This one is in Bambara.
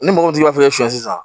Ni mɔgɔ tigi b'a fɛ siɲɛ sisan